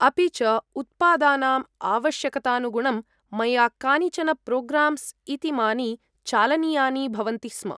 अपि च, उत्पादानाम् आवश्यकतानुगुणं मया कानिचन प्रोग्राम्स् इतीमानि चालनीयानि भवन्ति स्म।